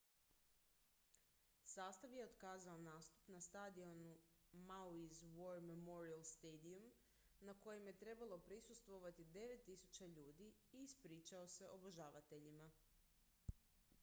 sastav je otkazao nastup na stadionu maui's war memorial stadium na kojem je trebalo prisustvovati 9.000 ljudi i ispričao se obožavateljima